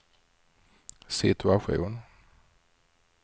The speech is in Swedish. situation